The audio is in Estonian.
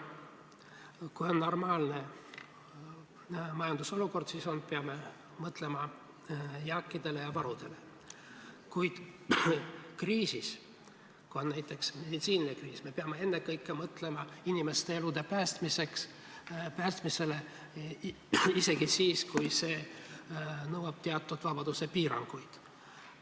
Kui on normaalne majandusolukord, siis peame mõtlema jääkidele ja varudele, kuid kriisis, kui on näiteks meditsiinikriis, me peame ennekõike mõtlema inimeste elude päästmisele, isegi kui see nõuab teatud vabaduspiiranguid.